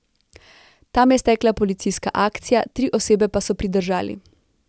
Tam je stekla policijska akcija, tri osebe pa so pridržali.